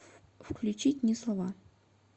включить не слова